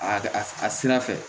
A a sira fɛ